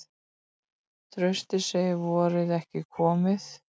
Trausti segir vorið ekki komið